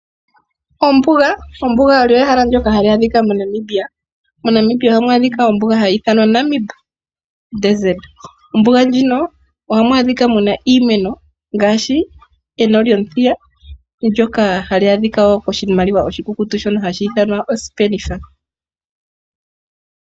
Ombuga. ombuga olyo ehala ndoka hali adhika moNamibia hali ithanwa Namib. Mombuga muno ohamu adhika iimeno ngaashi eno lyomuthiya ndoka hali adhika woo koshimaliwa oshikukutu shono hashi ithanwa osipenitha.